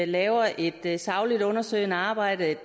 laver et et sagligt undersøgende arbejde